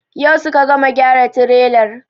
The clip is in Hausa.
Yau suka gama gyara tirelar.